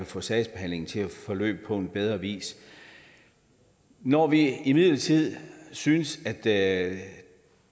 få sagsbehandlingen til at forløbe på en bedre vis når vi imidlertid synes at